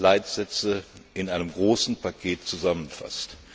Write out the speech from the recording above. Leitsätze in einem großen Paket zusammenfasst.